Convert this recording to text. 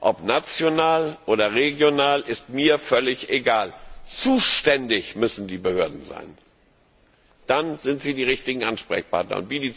Ob national oder regional, ist mir völlig egal. Zuständig müssen die Behörden sein, dann sind sie die richtigen Ansprechpartner.